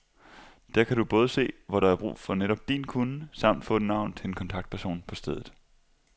Der kan du både se, hvor der er brug for netop din kunnen samt få et navn til en kontaktperson på stedet.